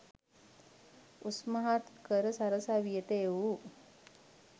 උස්මහත් කර සරසවියට එවූ